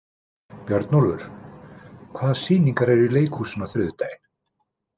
Björnólfur, hvaða sýningar eru í leikhúsinu á þriðjudaginn?